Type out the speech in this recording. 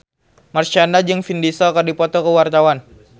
Marshanda jeung Vin Diesel keur dipoto ku wartawan